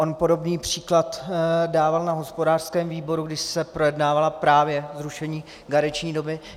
On podobný příklad dával na hospodářském výboru, když se projednávalo právě zrušení karenční doby.